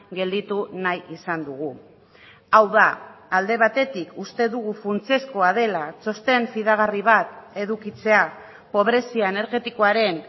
gelditu nahi izan dugu hau da alde batetik uste dugu funtsezkoa dela txosten fidagarri bat edukitzea pobrezia energetikoaren